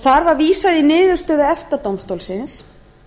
þar var vísað í niðurstöðu efta dómstólsins